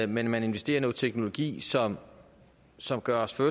men man investerer i noget teknologi som som gør os til